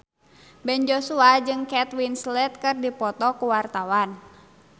Ben Joshua jeung Kate Winslet keur dipoto ku wartawan